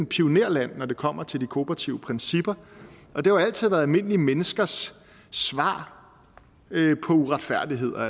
pionerland når det kommer til de kooperative principper og det har altid været almindelige menneskers svar på uretfærdigheder